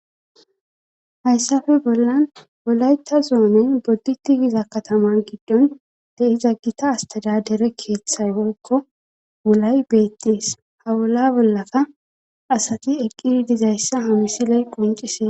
hayssafe bollan wolayta zoonen bodditi giza kataman giddon de'iza gita astada dere keeththay woyikko wulay beettees hawula bollafa asati eqqi dizayssa ha misiley quncisees